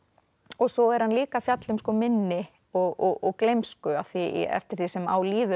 og svo er hann líka að fjalla um minni og gleymsku því eftir því sem á líður